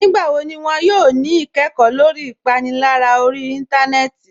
Nígbàwọ́ ní wọn yóò ní ìkẹ́kọ̀ lórí ìpànìlárà orí ìntánẹnẹ́tì?